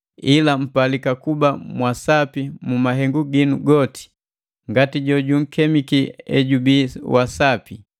Ila mpalika kuba mwa sapi mu mahengu ginu goti, ngati jojunkemiki ejubii wa sapi.